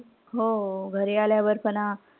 हो. घरी आल्यावर पण,